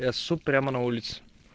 я ссу прямо на улице